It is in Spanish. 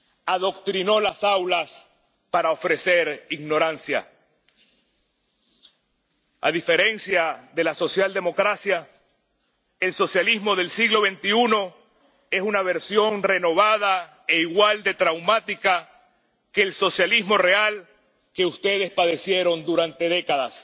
Adoctrinó las aulas para ofrecer ignorancia. A diferencia de la socialdemocracia, el socialismo del siglo XXI es una versión renovada e igual de traumática que el socialismo real que ustedes padecieron durante décadas.